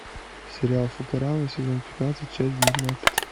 сериал футурама сезон пятнадцать часть девятнадцать